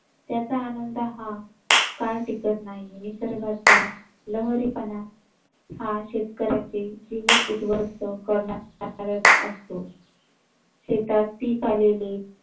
त्याचा आनंद हा काळ टिकत नाही. निसर्गाचा लहरीपणा हा शेतकऱ्यांचे जीवन उद्ध्वस्त करणारा असतो. शेतात पीक आलेली